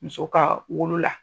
Muso ka wolola